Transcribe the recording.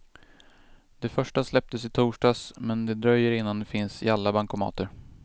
De första släpptes i torsdags, men det dröjer innan de finns i alla bankomater.